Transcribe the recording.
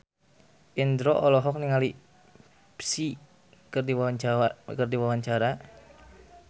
Indro olohok ningali Psy keur diwawancara